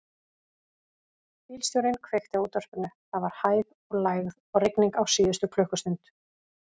Bílstjórinn kveikti á útvarpinu: það var hæð og lægð og rigning á síðustu klukkustund.